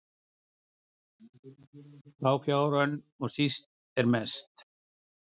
þá fjár önn og síst er mest